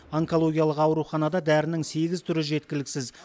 онкологиялық ауруханада дәрінің сегіз түрі жеткіліксіз